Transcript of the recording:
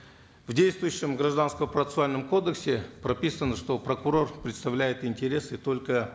в действующем гражданско процессуальном кодексе прописано что прокурор представляет интересы только